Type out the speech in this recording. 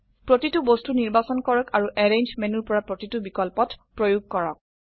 প্ৰতিটো বস্তু নিৰ্বাচন কৰক আৰু এৰেঞ্জ মেনুৰ পৰা প্ৰতিটো বিকল্পত প্ৰয়োগ কৰক